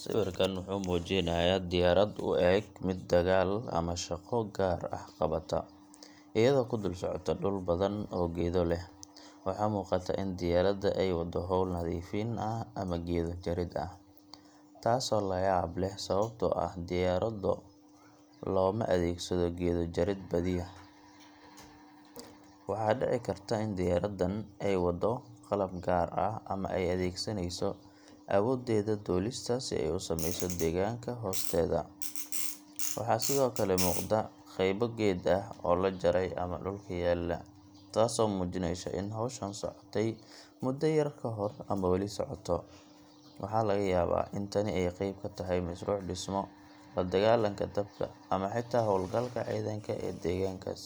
Sawirkan wuxuu muujinayaa diyaarad u eg mid dagaal ama shaqo gaar ah qabata, iyadoo ku dul socota dhul badan oo geedo leh. Waxaa muuqata in diyaaradda ay wado hawl nadiifin ah ama geedo jarid ah, taasoo la yaab leh sababtoo ah diyaarado looma adeegsado geedo jarid badiyaa. Waxaa dhici karta in diyaaraddan ay wado qalab gaar ah ama ay adeegsanayso awooddeeda duulista si ay u saameyso deegaanka hoosteeda. Waxaa sidoo kale muuqda qaybo geedo ah oo la jaray ama dhulka yaalla, taasoo muujinaysa in howshan socotay muddo yar kahor ama weli socoto. Waxaa laga yaabaa in tani ay qayb ka tahay mashruuc dhismo, la dagaalanka dabka, ama xitaa hawlgalka ciidanka ee deegaankaas.